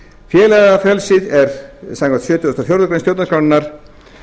félagafrelsið er samkvæmt sjötugasta og fjórðu grein stjórnarskrárinnar